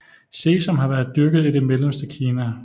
Sesam har været dyrket i det mellemste Kina